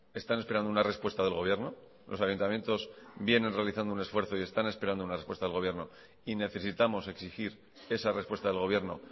están esperando una respuesta del gobierno los ayuntamientos vienen realizando un esfuerzo y están esperando una respuesta del gobierno y necesitamos exigir esa respuesta del gobierno